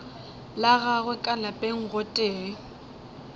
la gagwe ka lapeng gotee